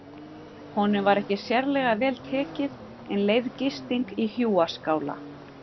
Honum var ekki sérlega vel tekið en leyfð gisting í hjúaskála.